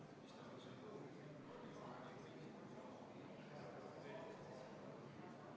Muudatusettepanekute esitamise tähtajaks, 9. oktoobriks kella 17.15-ks Riigikogu liikmed, fraktsioonid ega teised komisjonid muudatusettepanekuid ei esitanud.